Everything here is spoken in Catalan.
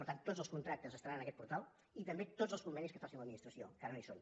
per tant tots els contractes estaran en aquest portal i també tots els convenis que faci l’administració que ara no hi són